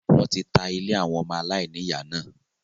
wọ́n ti ta “ ilé àwọn ọmọ aláìní ìyá ” náà.